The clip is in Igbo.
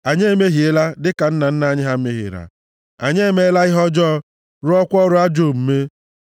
Anyị emehiela, dịka nna nna anyị ha mehiere; anyị emeela ihe ọjọọ, rụọkwa ọrụ ajọ omume.